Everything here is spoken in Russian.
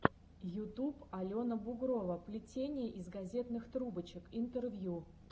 ютуб алена бугрова плетение из газетных трубочек интервью